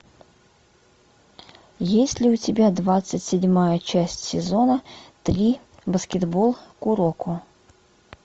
есть ли у тебя двадцать седьмая часть сезона три баскетбол куроко